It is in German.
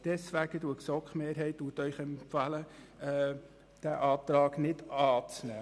Deshalb empfiehlt Ihnen die GSoK-Mehrheit, diesen Antrag nicht anzunehmen.